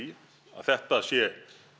þetta sé